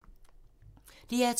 DR2